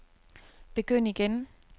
begynd igen